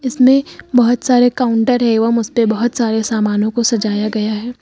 इसमें बहोत सारे काउंटर एवं उस पे बहोत सारे सामानों को सजाया गया है।